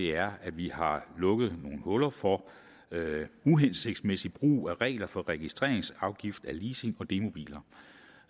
er at vi har lukket nogle huller for uhensigtsmæssig brug af regler for registreringsafgift af leasing og demobiler